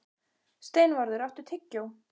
Steinvarður, áttu tyggjó?